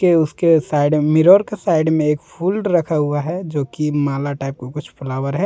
ये उसके side mirror के साइड में एक फूल रखा हुआ है जो कि माला टाइप का कुछ फ्लावर है।